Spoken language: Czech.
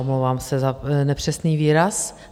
Omlouvám se za nepřesný výraz.